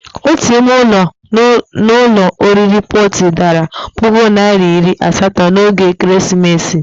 Ótù ime ụlọ n'ụlọ oriri Protii dara puku naira iri asatọ n'oge Ekeresimesi.